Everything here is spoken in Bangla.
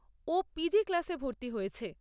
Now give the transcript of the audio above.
ও পি.জি ক্লাসে ভর্তি হয়েছে।